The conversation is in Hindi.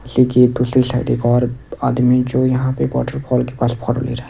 देखिए दूसरी साइड एक और आदमी जो यहां पे वॉटरफॉल के पास फोटो ले रहा है।